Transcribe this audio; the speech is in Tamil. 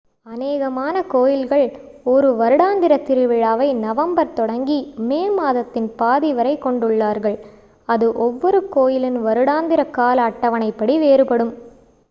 அநேகமான கோயில்கள் ஒரு வருடாந்திர திருவிழாவை நவம்பர் தொடங்கி மே மாதத்தின் பாதி வரை கொண்டுள்ளார்கள் அது ஒவ்வொரு கோயிலின் வருடாந்திர கால அட்டவணைப்படி வேறுபடும்